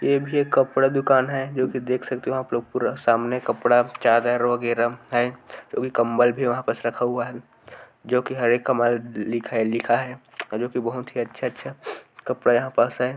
ये भी एक कपड़ा दुकान है जो कि देख सकते हो आप लोग पूरा सामने कपड़ा चादर वगैरह है जो कि कम्बल भी वहाँ पास रखा हुआ है जो कि हरे का मॉल लिखा है लिखा है जो कि बहुत ही अच्छा अच्छा कपड़ा यहां पास है ।